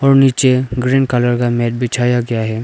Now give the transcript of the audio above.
और नीचे green colour का मैट बिछाया गया है।